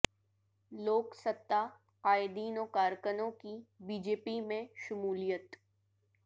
لوک ستہ قائدین و کارکنوں کی بی جے پی میں شمولیت